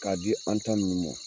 Ka di an ta nunnu mɔn